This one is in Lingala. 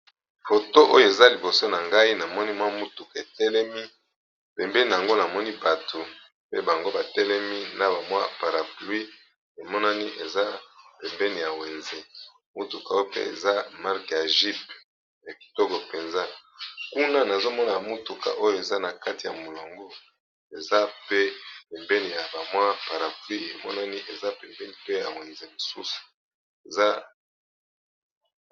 Foto oyo eza liboso na ngai namoni mwa motuka etelemi pembeni nango namoni bato pe bango batelemi na bamwa paraplui emonani eza pembeni ya wenze motuka oyo pe eza mark ya jeep ekitoko mpenza kuna nazomona motuka oyo eza na kati ya molongo eza pe ebeni ya bamwa paraplui emonani eza pembeni pe ya wenze mosusu eza